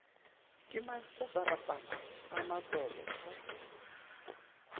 ke mantsatsarapana a matolo a